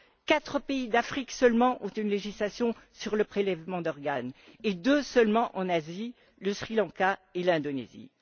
Quatre pays d'Afrique seulement ont une législation sur le prélèvement d'organes et deux seulement en Asie, le Sri Lanka et l'Indonésie.